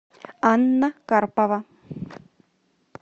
анна карпова